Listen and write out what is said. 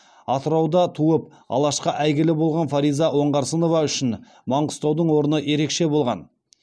атырауда туып алашқа әйгілі болған фариза оңғарсынова үшін маңғыстаудың орны ерекше болған